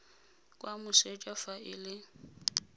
kwa moseja fa e le